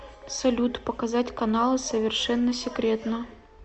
салют показать каналы совершенно секретно